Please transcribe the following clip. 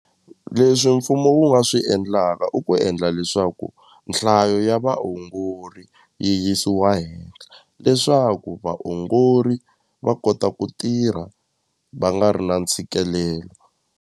Leswi mfumo wu nga swi endlaka i ku endla leswaku nhlayo ya vaongori yi yisiwa hehla leswaku vaongori va kota ku tirha va nga ri na ntshikelelo.